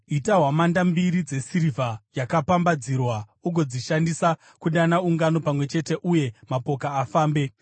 “Ita hwamanda mbiri dzesirivha yakapambadzirwa, ugodzishandisa kudana ungano pamwe chete uye kuti mapoka afambe.